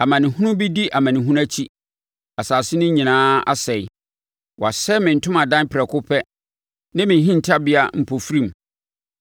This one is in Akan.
Amanehunu di amanehunu akyi; asase no nyinaa asɛe. Wɔasɛe me ntomadan prɛko pɛ, ne me hintabea mpofirim.